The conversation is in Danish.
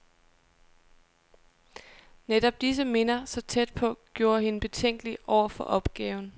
Netop disse minder, så tæt på, gjorde hende betænkelig over for opgaven.